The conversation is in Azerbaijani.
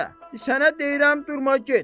Sənə deyirəm, durma get.